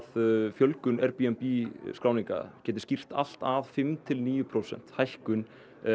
fjölgun Airbnb skráninga geti skýrt allt að fimm til níu prósenta hækkun